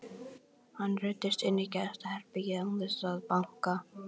Hann ruddist inn í gestaherbergið án þess að banka.